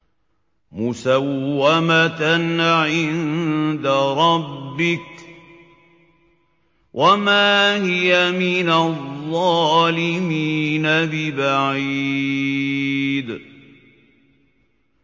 مُّسَوَّمَةً عِندَ رَبِّكَ ۖ وَمَا هِيَ مِنَ الظَّالِمِينَ بِبَعِيدٍ